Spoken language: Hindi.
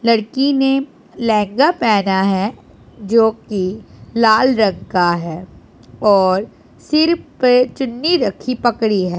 लड़की ने लेहंगा पहना है जोकि लाल रंग का है और सिर पे चुन्नी रखी पकड़ी है।